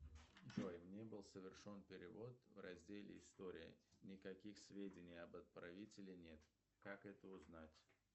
джой мне был совершен перевод в разделе история никаких сведений об отправителе нет как это узнать